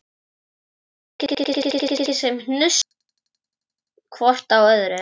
En þau ekki svo mikið sem hnusuðu hvort af öðru.